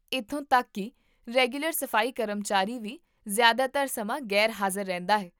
ਇੱਥੋਂ ਤੱਕ ਕੀ ਰੈਗੂਲਰ ਸਫ਼ਾਈ ਕਰਮਚਾਰੀ ਵੀ ਜ਼ਿਆਦਾਤਰ ਸਮਾਂ ਗ਼ੈਰ ਹਾਜ਼ਰ ਰਹਿੰਦਾ ਹੈ